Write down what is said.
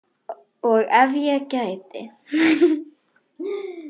Og ef ég gæti.?